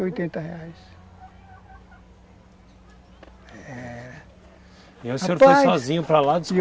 Cento e oitenta É... Rapaz... E aí o senhor foi sozinho para lá ?